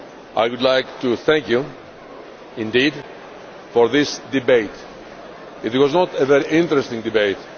I would like to thank you indeed for this debate. It was not only a very interesting debate